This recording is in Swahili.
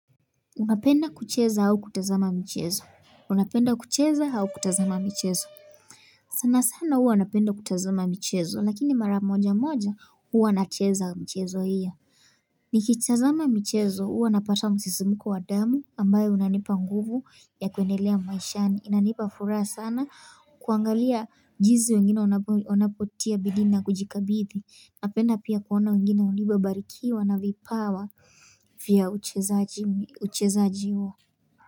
Unapenda kucheza au kutazama michezo? Unapenda kucheza au kutazama michezo? Sana sana huwa napenda kutazama michezo lakini mara moja moja huwa nacheza mchezo hio. Nikitazama michezo huwa napata msisimuko wa damu ambayo unanipa nguvu ya kuendelea maishani inanipa furaha sana kuangalia jinsi wengine wanapotia bidii na kujikabidhi. Napenda pia kuona wengine walivyobarikiwa na vipawa vya uchezaji huo.